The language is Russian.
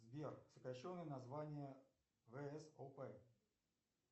сбер сокращенное название всоп